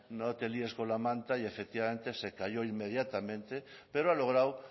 no te líes con la manta y efectivamente se cayó inmediatamente pero ha logrado